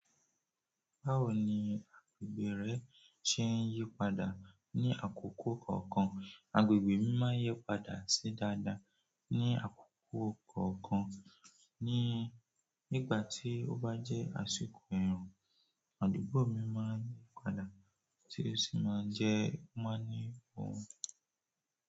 Báwo ni agbègbè rẹ ṣe ń yí padà ní àkókò kọ̀ọ̀kan? Agbègbè mi máa ń yí padà sí dáadáa ní àkókò kọ̀ọ̀kan. Nígbà tí ó bá jẹ́ àsìkò ẹ̀rùn, àdúgbò mi máa ń yí padà tí ó sì máa ń jẹ́ o máa ní ohùn.